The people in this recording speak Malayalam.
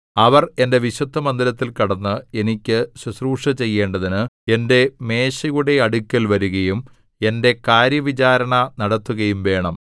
അവർ എന്റെ വിശുദ്ധമന്ദിരത്തിൽ കടന്ന് എനിക്ക് ശുശ്രൂഷ ചെയ്യേണ്ടതിന് എന്റെ മേശയുടെ അടുക്കൽ വരുകയും എന്റെ കാര്യവിചാരണ നടത്തുകയും വേണം